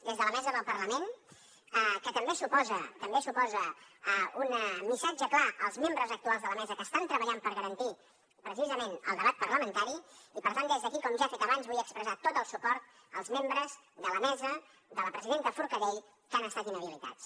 des de la mesa del parlament que també suposa un missatge clar als membres actuals de la mesa que estan treballant per garantir precisament el debat parlamentari i per tant des d’aquí com ja he fet abans vull expressar tot el suport als membres de la mesa de la presidenta forcadell que han estat inhabilitats